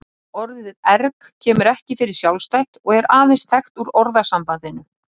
Orðið erg kemur ekki fyrir sjálfstætt og er aðeins þekkt úr orðasambandinu.